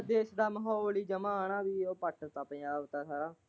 ਦੇਸ ਦਾ ਮਾਹੋਲ ਹੀ ਜਮਾਂ ਹੀ ਪਲਟ ਤਾਂ ਪੰਜਾਬ ਦਾ ਸਾਰਾ।